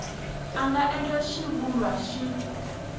a nga endla xivulwa xin